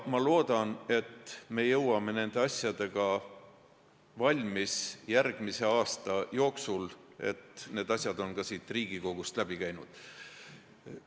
Ma loodan, et me jõuame sellega valmis järgmise aasta jooksul, et siis on need asjad ka siit Riigikogust läbi käinud.